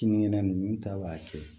Kinikɛnɛ ninnu ta b'a kɛ